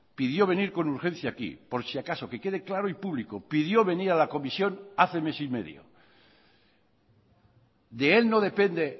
pidió venir con urgencia aquí por si acaso que quede claro y público pidió venir a la comisión hace mes y medio de él no depende